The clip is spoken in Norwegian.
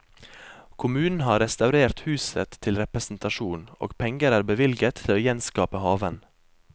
Kommunen har restaurert huset til representasjon, og penger er bevilget til å gjenskape haven.